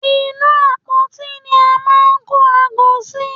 Inú u àpótí ni a máa ń kó aago sí.